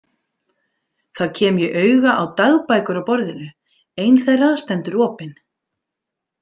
Þá kem ég auga á dagbækur á borðinu, ein þeirra stendur opin.